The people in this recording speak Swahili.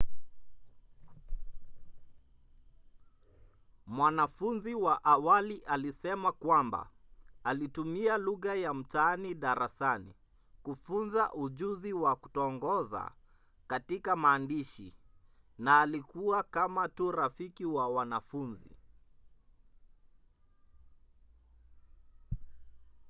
mwanafunzi wa awali alisema kwamba ‘alitumia lugha ya mtaani darasani kufunza ujuzi wa kutongoza katika maandishi na alikuwa kama tu rafiki wa wanafunzi.’